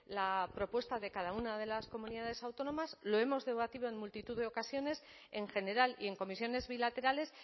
la propuesta de cada una de las comunidades autónomas lo hemos debatido en multitud de ocasiones en general y en comisiones bilaterales